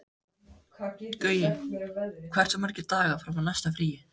Gaui, hversu margir dagar fram að næsta fríi?